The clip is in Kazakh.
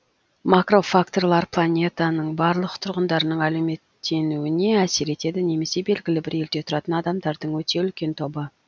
макрофакторлар планетаның барлық тұрғындарының әлеуметтенуіне әсер етеді немесе белгілі бір елде тұратын адамдардың өте үлкен тобы